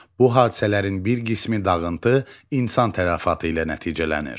Bu hadisələrin bir qismi dağıntı, insan tələfatı ilə nəticələnir.